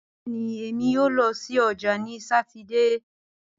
Bẹẹni, Emi yoo lọ si ọja ni Satidee